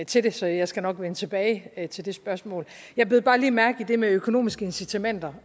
til det så jeg skal nok vende tilbage til det spørgsmål jeg bed bare lige mærke i det med økonomiske incitamenter